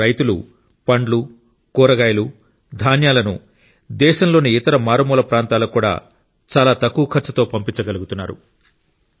ఇప్పుడు రైతులు పండ్లు కూరగాయలు ధాన్యాలను దేశంలోని ఇతర మారుమూల ప్రాంతాలకు చాలా తక్కువ ఖర్చుతో పంపించగలుగుతున్నారు